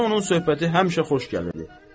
Mənə onun söhbəti həmişə xoş gəlirdi.